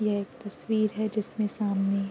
यह एक तस्वीर है जिसमे सामने --